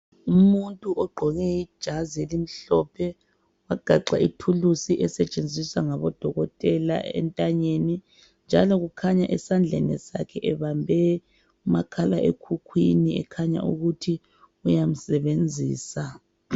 Umuntu ogqoke ijazi elimhlophe wagaxa ithuluzi esetshenziswa ngabodokotela entanyeni. Njalo kukhanya esandleni sakhe ebambe umakhala ekhukhwini ekhanya ukuthi uyamsebenzisa.